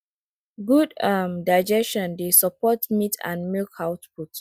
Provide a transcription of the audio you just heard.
good um digestion dey support meat and milk output